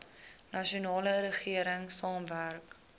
nasionale regering saamwerk